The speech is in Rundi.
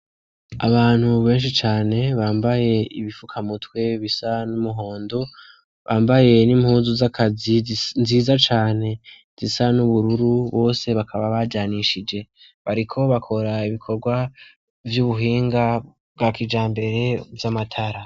Abantu benshi cane, bambaye ibifuka mutwe bisa n'umuhondo, bambaye n'impuzu z'akazi nziza cane zisa n'ubururu ,bose bakaba bajanishije. Bariko bakora ibikorwa vy'ubuhinga bwa kijambere vy'amatara.